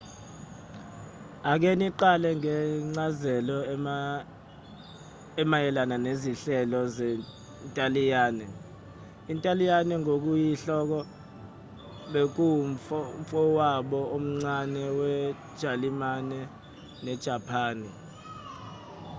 ake siqale ngencazelo emayelana nezinhlelo zentaliyane intaliyane ngokuyinhloko bekuwumfowabo omncane wejalimane nejapani